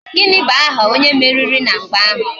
Gịnị bụ aha onye meriri na mgba ahụ?